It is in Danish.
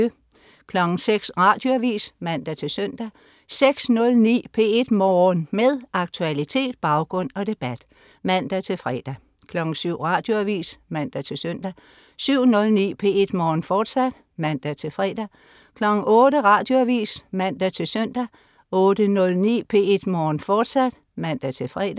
06.00 Radioavis (man-søn) 06.09 P1 Morgen. Med aktualitet, baggrund og debat (man-fre) 07.00 Radioavis (man-søn) 07.09 P1 Morgen, fortsat (man-fre) 08.00 Radioavis (man-søn) 08.09 P1 Morgen, fortsat (man-fre)